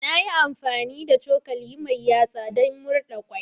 Na yi amfani da cokali mai yatsa don murɗa kwai.